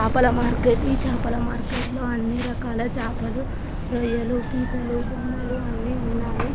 చేపల మార్కెటి చేపల మార్కెట్‌లో అన్ని రకాల చేపలు రొయ్యలు పూకులు బొమ్మెలు అన్నీ ఉన్నాయ్.